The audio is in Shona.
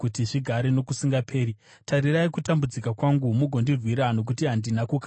Tarirai kutambudzika kwangu mugondirwira, nokuti handina kukanganwa murayiro wenyu.